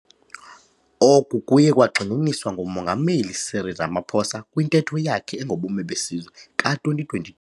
Oku kuye kwagxininiswa nguMongameli Cyril Ramaphosa kwiNtetho yakhe engoBume beSizwe ka-2020.